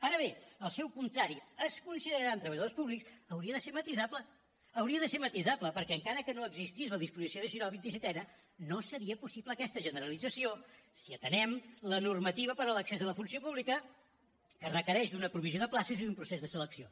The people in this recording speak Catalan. ara bé el seu contrari es consideraran treballadors públics hauria de ser matisable hauria de ser matisable perquè encara que no existís la disposició addicional vint i setena no seria possible aquesta generalització si atenem la normativa per a l’accés a la funció pública que requereix d’una provisió de places i d’un procés de selecció